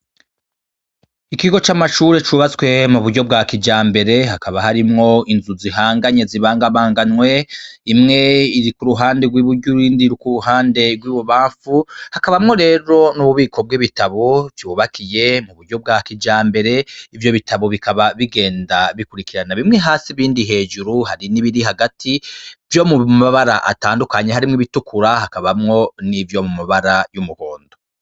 Ikigo c'amashure cubatswe mu buryo bwa kijambere, hakaba harimwo inzu zihanganye, zibangabanganywe, imwe iri ku ruhande rw'i buryo iyindi iri ku ruhande rw'i bubamfu, hakabamwo rero n'ububiko bw'ibitabu bwubakiye mu buryo bwa kijambere. Ivyo bitabu bikaba bigenda bikurikirana bimwe hasi ibindi hejuru hari n'ibiri hagati vyo mu mabara atandukanye: harimwo ibitukura hakabamwo n'ivyo mu mabara y'umuhondo.